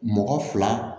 Mɔgɔ fila